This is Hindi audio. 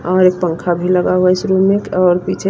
और एक पंखा भी लगा हुआ है इस रूम में और पीछे--